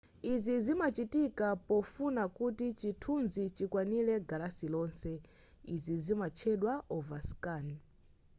izi zimachitika pofuna kuti chithunzi chikwanire galasi lonse izi zimatchedwa overscan